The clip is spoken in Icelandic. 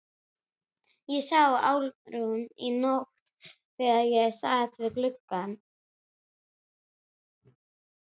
Ég sá Álfrúnu í nótt þegar ég sat við gluggann.